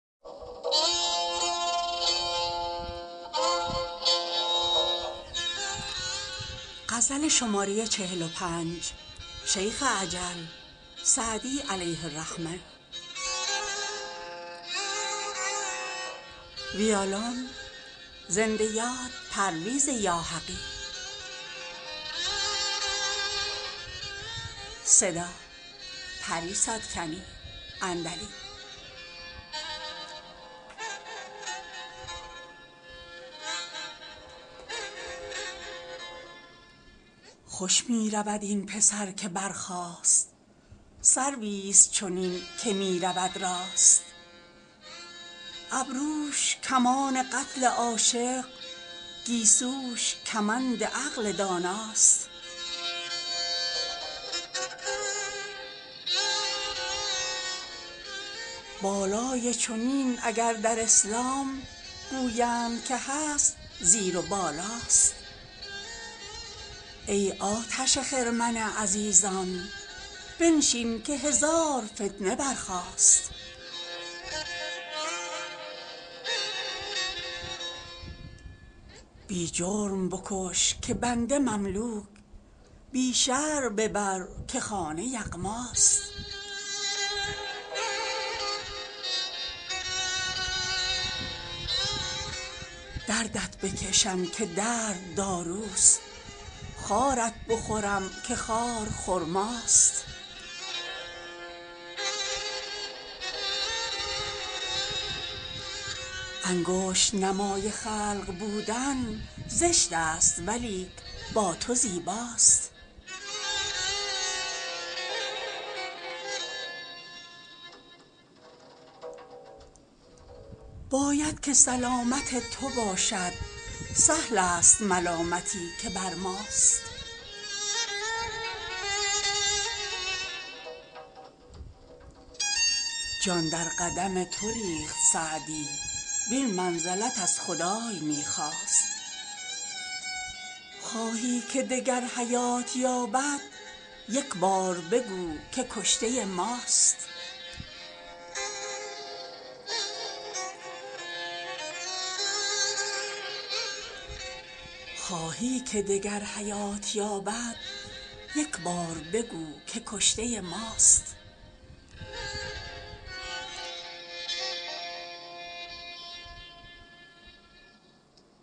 خوش می رود این پسر که برخاست سرویست چنین که می رود راست ابروش کمان قتل عاشق گیسوش کمند عقل داناست بالای چنین اگر در اسلام گویند که هست زیر و بالاست ای آتش خرمن عزیزان بنشین که هزار فتنه برخاست بی جرم بکش که بنده مملوک بی شرع ببر که خانه یغماست دردت بکشم که درد داروست خارت بخورم که خار خرماست انگشت نمای خلق بودن زشت است ولیک با تو زیباست باید که سلامت تو باشد سهل است ملامتی که بر ماست جان در قدم تو ریخت سعدی وین منزلت از خدای می خواست خواهی که دگر حیات یابد یک بار بگو که کشته ماست